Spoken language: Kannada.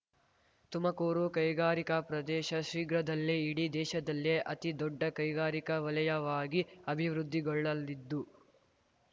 ತುಮಕೂರು ಕೈಗಾರಿಕಾ ಪ್ರದೇಶ ಶೀಘ್ರದಲ್ಲೇ ಇಡೀ ದೇಶದಲ್ಲೇ ಅತಿ ದೊಡ್ಡ ಕೈಗಾರಿಕಾ ವಲಯವಾಗಿ ಅಭಿವೃದ್ಧಿಗೊಳ್ಳಲಿದ್ದು